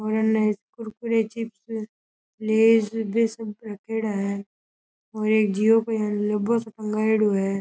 और इनने Kurkure chips Lay's बे सब रखेड़ा है और एक जिओ को लोगो लगायेडा है।